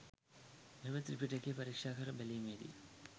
මෙම ත්‍රිපිටකය පරික්‍ෂාකර බැලීමේදී